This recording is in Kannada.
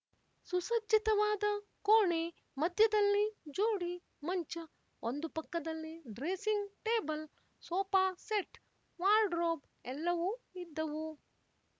ಸುಸಜ್ಜಿತವಾದ ಕೋಣೆ ಮಧ್ಯದಲ್ಲಿ ಜೋಡಿ ಮಂಚ ಒಂದು ಪಕ್ಕದಲ್ಲಿ dressing table sofa set wardrobe ಎಲ್ಲವೂ ಇದ್ದವು